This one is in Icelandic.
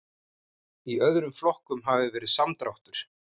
Í öðrum flokkum hafi verið samdráttur